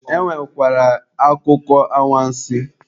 E nwekwara akụkọ awansị.